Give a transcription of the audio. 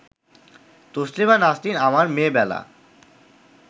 তসলিমা নাসরিন আমার মেয়ে বেলা